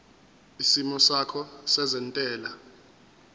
isimo sakho sezentela